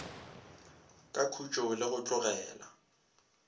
ka khutšo le go tlogela